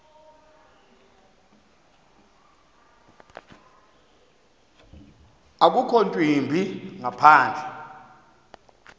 akukho ntwimbi ngaphandle